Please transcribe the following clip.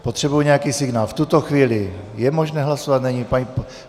Potřebuji nějaký signál - v tuto chvíli je možné hlasovat, není?